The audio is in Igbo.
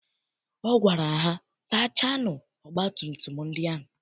Ọ gwara ha, sachaanụ ọgbatumtum ndị ahụ!